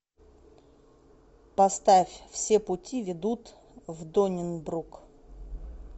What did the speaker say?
поставь все пути ведут в доннибрук